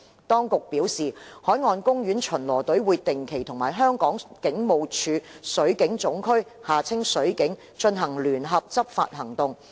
當局表示，海岸公園巡邏隊會定期與香港警務處水警總區進行聯合執法行動。